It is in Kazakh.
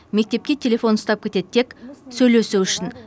мектепке телефон ұстап кетеді тек сөйлесу үшін